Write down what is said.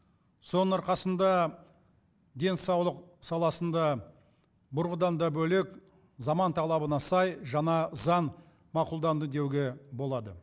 соның арқасында денсаулық саласында бұрынғыдан да бөлек заман талабына сай жаңа заң мақұлданды деуге болады